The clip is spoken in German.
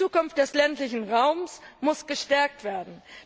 Die Zukunft des ländlichen Raums muss gestärkt werden.